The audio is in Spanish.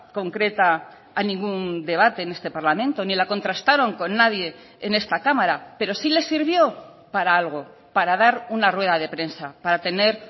concreta a ningún debate en este parlamento ni la contrastaron con nadie en esta cámara pero sí les sirvió para algo para dar una rueda de prensa para tener